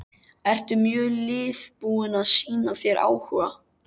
Eru mörg lið búin að sýna þér áhuga?